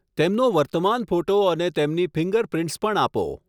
તેમનો વર્તમાન ફોટો અને તેમની ફિંગરપ્રિન્ટ્સ પણ આપો.